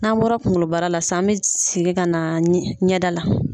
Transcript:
N'an bɔra kungolobara la sisan an bɛ segin ka na ɲɛda la.